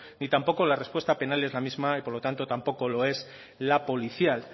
ni tampoco la respuesta penal es la misma y por lo tanto tampoco lo es la policial